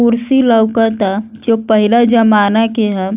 कुर्सी लउक ता जो पहिला जमाना के ह।